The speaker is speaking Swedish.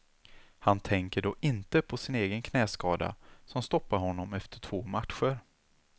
Han tänker då inte på sin egen knäskada som stoppade honom efter två matcher.